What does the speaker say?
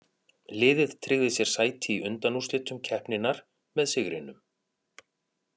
Liðið tryggði sér sæti í undanúrslitum keppninnar með sigrinum.